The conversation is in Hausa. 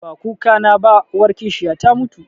Ba kukana ba, uwar kishiya ta mutu